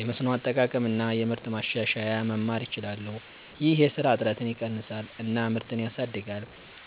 የመስኖ አጠቃቀም እና የምርት ማሻሻያ መማር ይችላሉ። ይህ የስራ እጥረትን ይቀንሳል እና ምርትን ያሳድጋል።